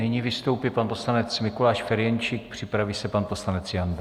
Nyní vystoupí pan poslanec Mikuláš Ferjenčík, připraví se pan poslanec Janda.